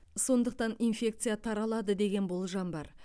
сондықтан инфекция таралады деген болжам бар